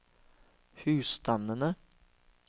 husstandene